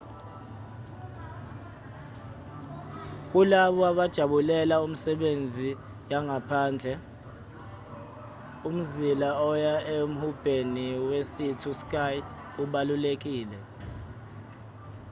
kulabo abajabulela imisebenzi yangaphandle umzila oya emhubheni wesea to sky ubalulekile